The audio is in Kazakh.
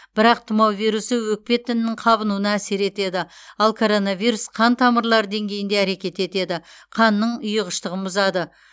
бірақ тұмау вирусы өкпе тінінің қабынуына әсер етеді ал коронавирус қан тамырлары деңгейінде әрекет етеді қанның ұйығыштығын бұзады